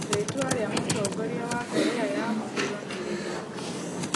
Rĩĩtwa rĩa Mũtongoria wa Korea ya mũhuro nĩ rĩrĩkũ?